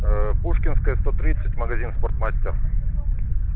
ээ пушкинская сто тридцать магазин спортмастер